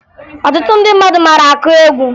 Ọtụtụ ndị mmadụ mara akụ egwu